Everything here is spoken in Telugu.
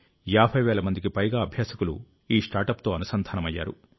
50 వేల మందికి పైగా అభ్యాసకులు ఈ స్టార్టప్ తో అనుసంధానమయ్యారు